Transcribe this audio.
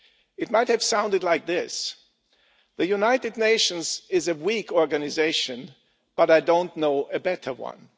It might have sounded like this The United Nations is a weak organisation, but I don't know a better one.'